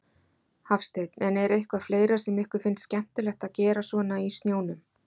Hafsteinn: En er eitthvað fleira sem ykkur finnst skemmtilegt að gera svona í snjónum?